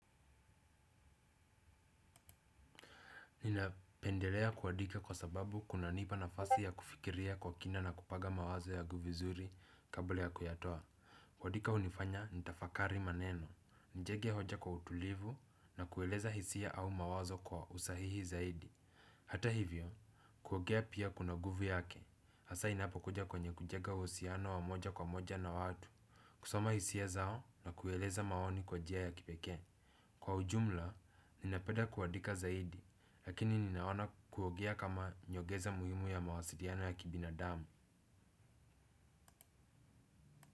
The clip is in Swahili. Ninapendelea kuandika kwa sababu kunanipa nafasi ya kufikiria kwa kina na kupaga mawazo yagu vizuri kabla ya kuyatoa. Kuadika unifanya nitafakari maneno, nijenge hoja kwa utulivu na kueleza hisia au mawazo kwa usahihi zaidi. Hata hivyo, kuogea pia kuna guvu yake, hasa inapo kuja kwenye kujenga uhusiano wa moja kwa moja na watu. Kusoma hisia zao na kueleza maoni kwa jia ya kipekee. Kwa ujumla, ninapeda kuadika zaidi, lakini ninaona kuogea kama nyogeza muhimu ya mawasiliano ya kibinadamu.